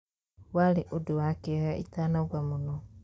Warĩ ũndũ wa kĩeha itanauga mũno.